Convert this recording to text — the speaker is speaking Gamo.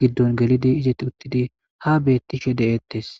giddon gelidi izeti uttidi ha bettishe deeettes